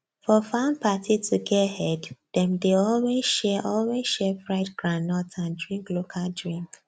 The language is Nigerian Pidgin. for farm party to get head dem dey always share always share fried groundnut and drink local drink